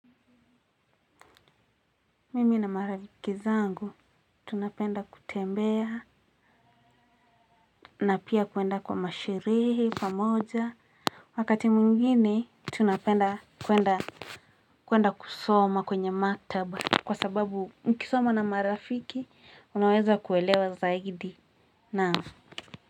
Mimi na marifiki zangu tunapenda kutembea na pia kuenda kwa masherehe, pamoja, wakati mwingine, tunapenda kuenda kuenda kusoma kwenye maktaba, kwa sababu mkisoma na marafiki, unaweza kuelewa zaidi, naam.